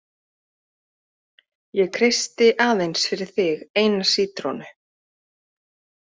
Ég kreisti aðeins fyrir þig eina sítrónu.